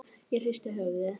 Ég hristi höfuðið.